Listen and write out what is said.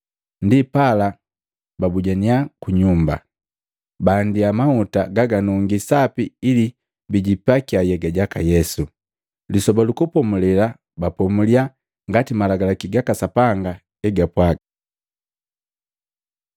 Ndipala babujaninya ku nyumba, baandia mahuta gaganungi sapi ili bijipakia nhyega jaka Yesu. Lisoba lu Kupomulela bapomulya ngati Malagalaki gaka Sapanga egapwaaga.